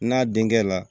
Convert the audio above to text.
N'a denkɛ la